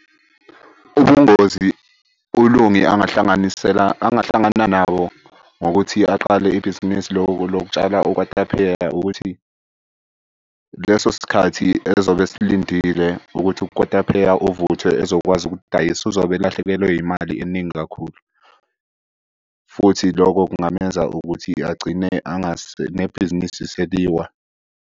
Ubungozi uLungi angahlanganisela, angahlangana nabo ngokuthi aqale ibhizinisi lokutshala ukwatapheya ukuthi leso sikhathi ezobe esilindile ukuthi ukotapheya uvuthwe ezokwazi ukudayisa. Uzobe elahlekelwe imali eningi kakhulu, futhi lokho kungamenza ukuthi agcine nebhizinisi seliwa.